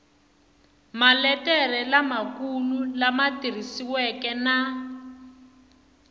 maletere lamakulu lama tikisiweke na